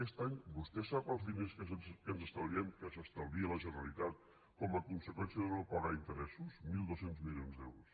aquest any vostè sap els diners que ens estalviem que s’estalvia la generalitat com a conseqüència de no pagar interessos mil dos cents milions d’euros